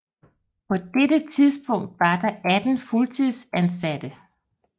På dette tidspunkt var der 18 fuldtidsansatte